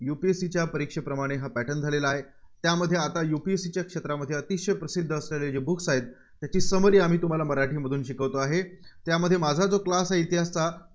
UPSC च्या परीक्षेप्रमाणे हा pattern झालेला आहे. त्यामध्ये आता UPSC च्या क्षेत्रामध्ये अतिशय प्रसिद्ध असलेले जे books आहेत. त्याची summary आम्ही तुम्हाला मराठीमधून शिकवतोआहे. त्यामध्ये माझा जो class आहे इतिहास